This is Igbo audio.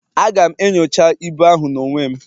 Aga'm enyocha ibu ahụ n'onwe m